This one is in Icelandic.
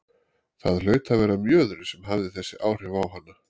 Það hlaut að vera mjöðurinn sem hafði þessi áhrif á hana.